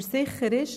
Aber sicher ist: